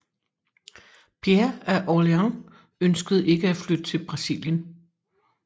Pierre af Orléans ønskede ikke at flytte til Brasilien